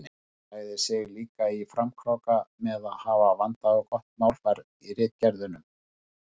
Hann lagði sig líka í framkróka með að hafa vandað og gott málfar í ritgerðunum.